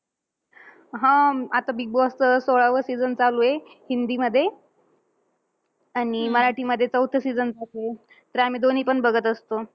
हम्म आता बिगबॉसचा सोळावं season चालूये हिंदीमध्ये. आणि मराठीमध्ये चौथं season चालूये. तर आम्ही दोन्हीपण बघत असतो.